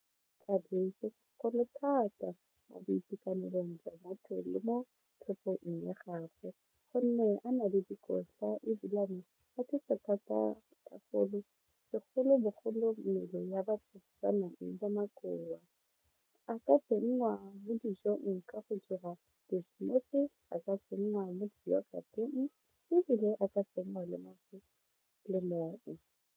Thata mo boitekanelong jwa maphelo mo tlhogong ya gagwe gonne a na le dikotla ebilane a thusa thata ka golo segolobogolo mmele ya batho ba nang le makowa a ka tsenngwa mo dijong ka go dira di-smoothie a ka tsenngwa mo di-yought-eng ebile a ka tsenngwa le .